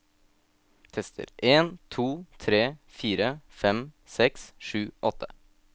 Tester en to tre fire fem seks sju åtte